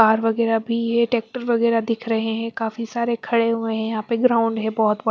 पार वगैरह भी हैट्रेक्टर वगैरह दिख रहे है काफी सारे खड़े हुए है यहाँ पे ग्राउंड है बहोत बड़ा।